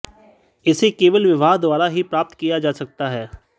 इसे केवल विवाह द्वारा ही प्राप्त किया जा सकता है